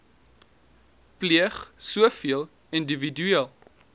pleeg sowel individueel